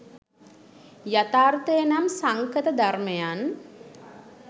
යථාර්ථය නම් සංඛත ධර්මයන්